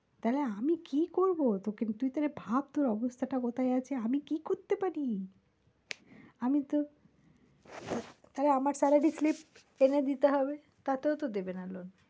তা হলে আমি কি করবো তোকে তুই তা হলে ভাব তোর অবস্থাটা কোথায় আছে? আমি কি করতে পারি আমি তো তাহলে আমার salary slip এনে দিতে হবে তাতেও দেবে না loan